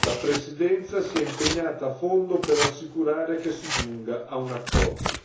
La Presidenza si è impegnata a fondo per assicurare che si giunga ad un accordo.